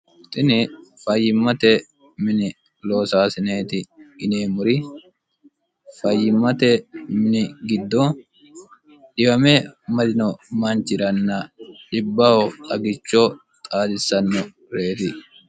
tini fayyimmate mini loosaasineeti yineemmori fayyimmate mini giddo dhiwame marino manchiranna dibbaho xagicho xaadissanno reyiti